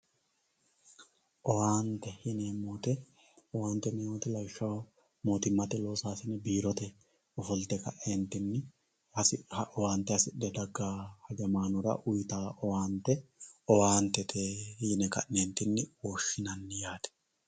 Owaante, owaante yineemmo woyte lawishshaho mootimmate loossasine owaante hasi'nuhura daggano hajamanora uyittanoha owaante owaantete yine ka'nentinni woshshinanni yaate.